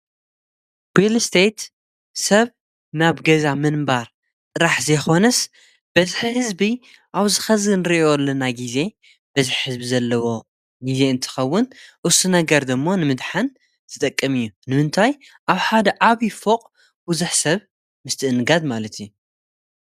ሪልስቴት ሰብ ናብ ገዛ ምንባር ጥራሕ ዘይኾንስ በዝሕ ሕዝቢ ኣብዚ ሕዚ እንርእዮ ዘለና ጊዜ በዝሕ ህዝቢ ዘለዎ ጊዜ እንትኸውን እሱ ነገር ድማ ንምድሃን ዝጠቅም እዩ። ንምንታይ ኣብ ሓደ ዓብይ ፎቕ ብዙኅ ሰብ ምስትእንጋድ ማለት እዩ።